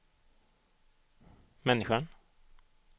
människan